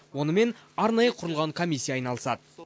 онымен арнайы құрылған комиссия айналысады